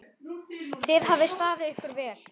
Þið hafið staðið ykkur vel.